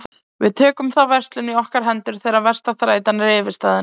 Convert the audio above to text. Við tökum þá verslun í okkar hendur þegar versta þrætan er yfirstaðin.